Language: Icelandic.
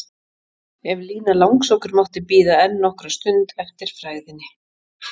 En Lína langsokkur mátti bíða enn nokkra stund eftir frægðinni.